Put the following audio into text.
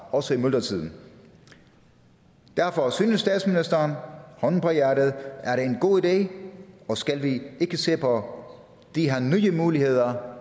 også i myldretiden derfor synes statsministeren hånden på hjertet at det er en god idé og skal vi ikke se på de her nye muligheder